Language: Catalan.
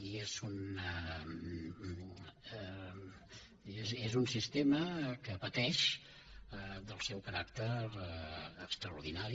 i és un sistema que pateix del seu caràcter extraordinari